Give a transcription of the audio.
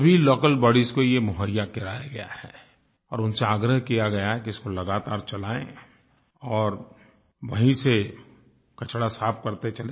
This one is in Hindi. सभी लोकल बॉडीज को ये मुहैया कराया गया है और उनसे आग्रह किया गया है कि इसको लगातार चलाएँ और वहीं से कचरा साफ़ करते चलें